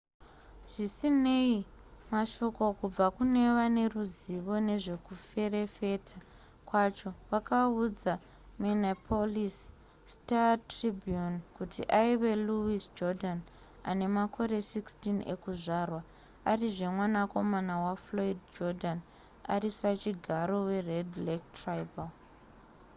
zvisinei mashoko kubva kune vane ruzivo nezvekuferefeta kwacho vakaudza minneapolis star-tribune kuti aive louis jourdan ane makore 16 ekuzvarwa arizve mwanakomana wafloyd jourdain ari sachigaro wered lake tribal